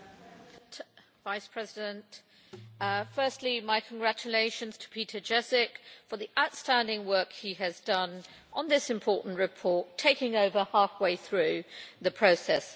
Madam President, firstly my congratulations to Petr Ježek for the outstanding work he has done on this important report, taking over halfway through the process.